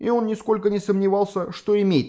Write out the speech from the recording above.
и он нисколько не сомневался что имеет